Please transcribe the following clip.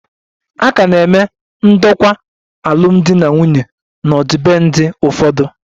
A ka na-eme ndokwa alụmdi na nwunye n'ọdịbendị ụfọdụ